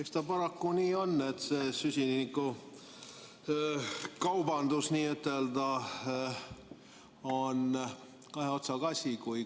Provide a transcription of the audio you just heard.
Eks ta paraku nii on, et see süsinikukaubandus on kahe otsaga asi.